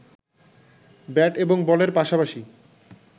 bat এবং বলের পাশাপাশি